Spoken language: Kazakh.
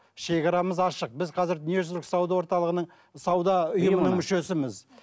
шегарамыз ашық біз қазір дүниежүзілік сауда орталығының сауда ұйымының мүшесіміз